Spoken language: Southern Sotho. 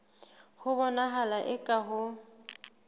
ho bonahala eka ha ho